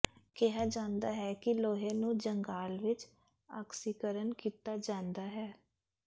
ਕਿਹਾ ਜਾਂਦਾ ਹੈ ਕਿ ਲੋਹੇ ਨੂੰ ਜੰਗਾਲ ਵਿਚ ਆਕਸੀਕਰਨ ਕੀਤਾ ਜਾਂਦਾ ਹੈ